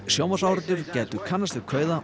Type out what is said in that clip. sjónvarpsáhorfendur gætu kannast við kauða